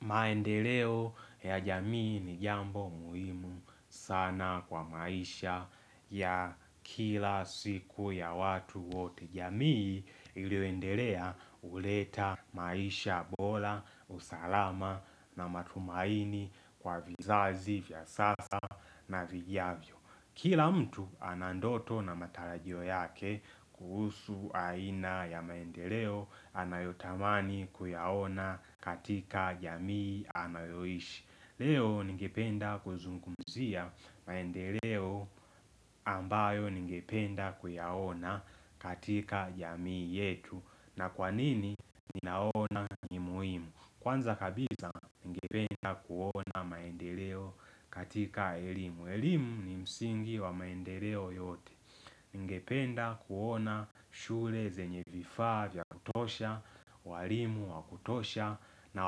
Maendeleo ya jamii ni jambo muhimu sana kwa maisha ya kila siku ya watu wote. Jamii iliyoendelea huleta maisha bora, usalama na matumaini kwa vizazi vya sasa na vijavyo. Kila mtu anandoto na matarajio yake kuhusu aina ya maendeleo anayotamani kuyaona katika jamii anayoishi. Leo ningependa kuzungumzia maendeleo ambayo ningependa kuyaona katika jamii yetu. Na kwanini ninaona ni muhimu Kwanza kabisa ningependa kuona maendeleo katika elimu. Elimu ni msingi wa maendeleo yote. Ningependa kuona shule zenye vifaa vya kutosha, walimu wakutosha na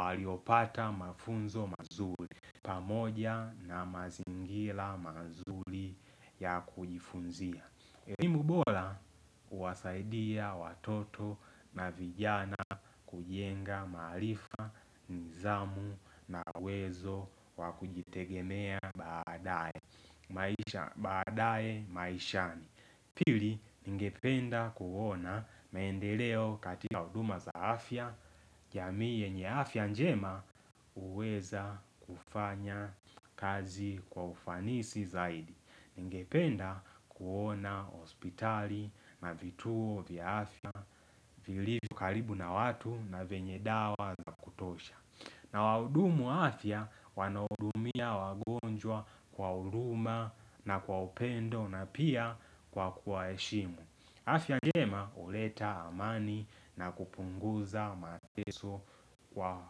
waliopata mafunzo mazuri. Pamoja na mazingila mazuri ya kujifunzia. Elimu bora huwasaidia watoto na vijana kujenga maarifa, nidhamu na uwezo wa kujitegemea baadaye. Maisha baadaye maishani Pili ningependa kuona maendeleo katika huduma za afya jamii yenye afya njema huweza kufanya kazi kwa ufanisi zaidi Ningependa kuona hospitali na vituo vya afya vilivyo karibu na watu na vyenye dawa za kutosha, na wahudumu afya wanahudumia wagonjwa kwa huruma na kwa upendo na pia kwa kuwaheshimu afya njema huleta amani na kupunguza mateso kwa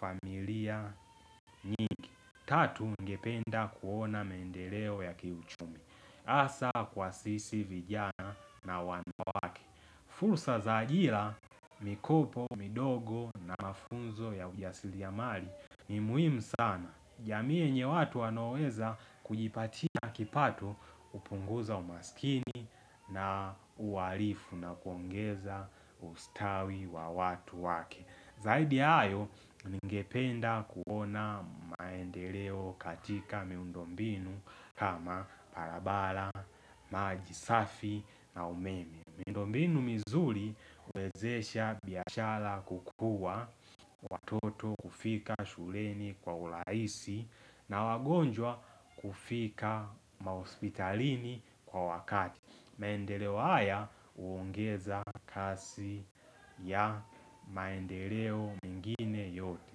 familia nyingi. Tatu ningependa kuona mendeleo ya kiuchumi. Hasa kwa sisi vijana na wanawake fursa za ajira mikopo, midogo na mafunzo ya ujasiriamali. Ni muhimu sana, jamiii yenye watu wanaoweza kujipatia kipato upunguza umaskini na kuwaarifu na kuongeza ustawi wa watu wake Zaidi ya hayo, ningependa kuona maendeleo katika miundombinu kama barabara maji safi na umeme Mindombinu mizuri uwezesha biashara kukua watoto kufika shuleni kwa urahisi na wagonjwa kufika mahospitalini kwa wakati. Maendeleo haya uongeza kasi ya maendeleo mengine yote.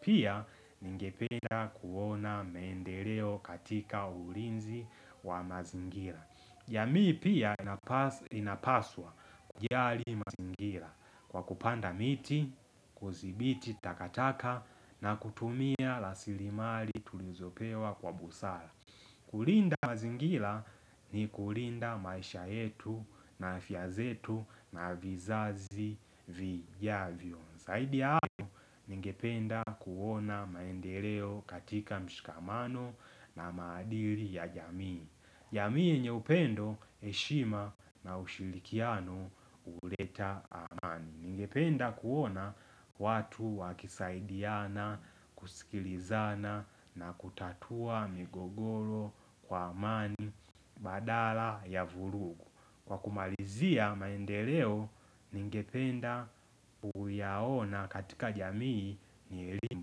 Pia ningependa kuona maendeleo katika ulinzi wa mazingira. Jamii pia inapaswa kujali mazingira kwa kupanda miti, kuthimbiti, takataka na kutumia rasilimali tulizopewa kwa busara kulinda mazingira ni kulinda maisha yetu na afya zetu na vizazi vijavyo. Zaidi hayo, ningependa kuona maendeleo katika mshikamano na maadili ya jamii. Jamii yenye upendo heshima na ushirikiano huleta amani Ningependa kuona watu wakisaidiana, kusikilizana na kutatua migogoro kwa amani badala ya vurugu. Kwa kumalizia maendeleo ningependa kuyaona katika jamii ni elimu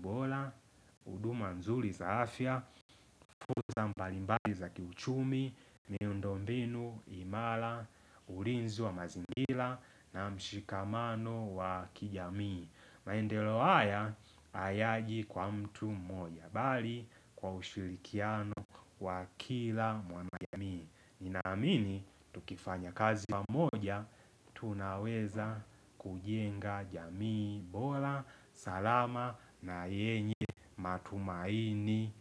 bora, huduma nzuri za afya, fursa mbalimbali za kiuchumi, miundombinu, imara, ulinzi wa mazingila na mshikamano wa kijamii. Maendeleo haya hayaji kwa mtu mmoja bali kwa ushirikiano wa kila mwanajamii. Ninaamini, tukifanya kazi mamoja, tunaweza kujenga jamii, bora, salama na yenye matumaini.